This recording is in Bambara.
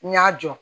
N y'a jɔ